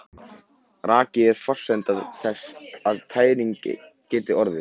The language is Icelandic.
Raki er forsenda þess að tæring geti orðið.